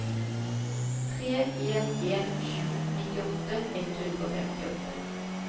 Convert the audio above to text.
tre en en sju nittiåtte ett hundre og femtiåtte